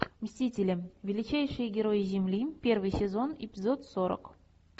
мстители величайшие герои земли первый сезон эпизод сорок